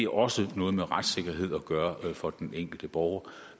også noget med retssikkerhed at gøre for den enkelte borger